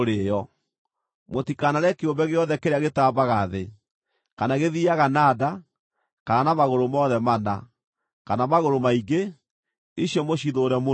Mũtikanarĩe kĩũmbe gĩothe kĩrĩa gĩtambaga thĩ, kana gĩthiiaga na nda, kana na magũrũ mothe mana, kana magũrũ maingĩ; icio mũcithũũre mũno.